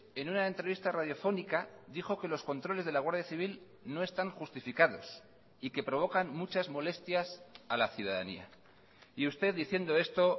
en una entrevista radiofónica dijo que los controles de la guardia civil no están justificados y que provocan muchas molestias a la ciudadanía y usted diciendo esto